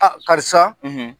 Karisa,